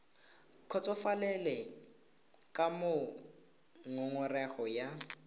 kgotsofalele ka moo ngongorego ya